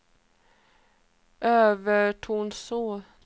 Övertorneå